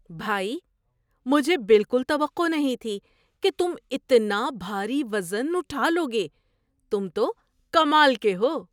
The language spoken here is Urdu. بھائی! مجھے بالکل توقع نہیں تھی کہ تم اتنا بھاری وزن اٹھا لو گے، تم تو کمال کے ہو!!